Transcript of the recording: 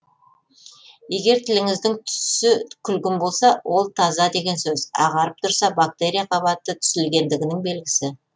егер тіліңіздің түсі күлгін болса ол таза деген сөз ағарып тұрса бактерия қабаты түзілгендігінің белгісі